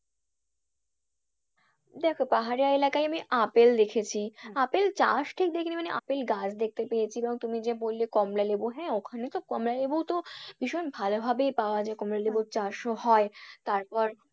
দেখো পাহাড়িয়া এলাকায় আমি আপেল দেখেছি। আপেল চাষ ঠিক দেখেনি মানে আপেল গাছ দেখেতে পেয়েছি এবং তুমি যে বললে কমলা লেবু হ্যাঁ ওখানে তো কমলা লেবু তো ভীষণ ভালো ভাবেই পাওয়া যায় কমলা লেবুর চাষও হয়। তারপর,